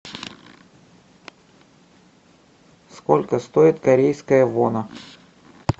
сколько стоит корейская вона